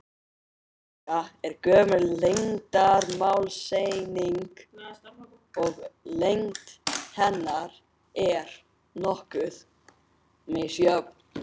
Stika er gömul lengdarmálseining og lengd hennar er nokkuð misjöfn.